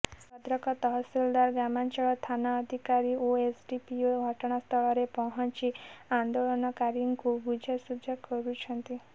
ଭଦ୍ରକ ତହସିଲଦାର ଗ୍ରାମାଞ୍ଚଳ ଥାନା ଅଧିକାରୀ ଓ ଏସଡିପିଓ ଘଟଣାସ୍ଥଳରେ ପହଞ୍ଚି ଆନ୍ଦୋଳନକାରୀଙ୍କୁ ବୁଝାସୁଝା କରୁଛନ୍ତି